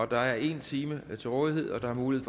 der er en time til rådighed og der er mulighed